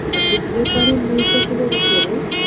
আর এদি এপারের নৌকো গুলোর ওপরে